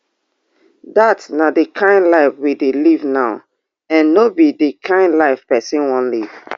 dat na di kain life we dey live now and no be di kain live pesin wan live